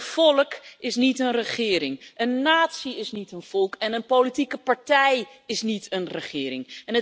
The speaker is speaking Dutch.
Een volk is niet een regering, een natie is niet een volk en een politieke partij is niet een regering.